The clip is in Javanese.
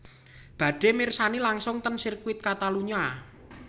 Badhe mirsani langsung ten sirkuti Catalunya